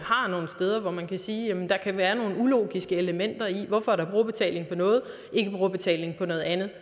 har nogle steder hvor man kan sige at der kan være nogle ulogiske elementer hvorfor er der brugerbetaling på noget og ikke brugerbetaling på noget andet